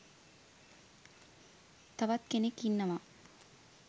තවත් කෙනෙක් ඉන්නවා